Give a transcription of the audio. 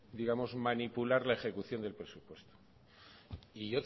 digamos manipular la ejecución del presupuesto y